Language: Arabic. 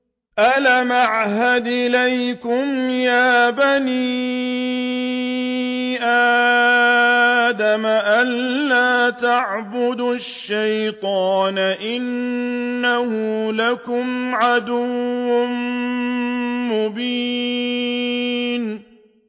۞ أَلَمْ أَعْهَدْ إِلَيْكُمْ يَا بَنِي آدَمَ أَن لَّا تَعْبُدُوا الشَّيْطَانَ ۖ إِنَّهُ لَكُمْ عَدُوٌّ مُّبِينٌ